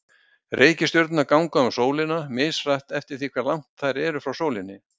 Reikistjörnurnar ganga um sólina, mishratt eftir því hve langt þær eru frá sólinni.